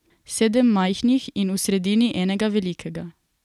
Sedem majhnih in v sredini enega velikega.